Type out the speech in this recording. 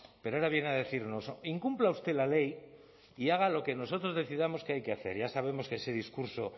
pero ahora viene a decirnos incumpla usted la ley y haga lo que nosotros decidamos que hay que hacer ya sabemos que ese discurso